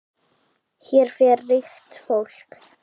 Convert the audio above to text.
Hér fer ríkt fólk.